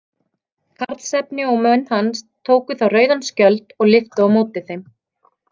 Karlsefni og menn hans tóku þá rauðan skjöld og lyftu á móti þeim.